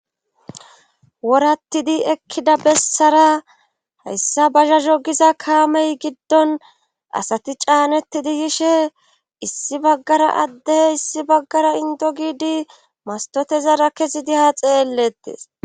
Worattidi ekkida bessara hayssa bazha zogiza kaamey giddon asati caanetidi yishe issi baggara addey issi baggara indo giidi mastotezara kesidiha xeellettis.